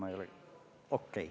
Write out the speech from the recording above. Okei!